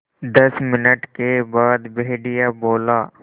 दस मिनट के बाद भेड़िया बोला